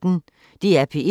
DR P1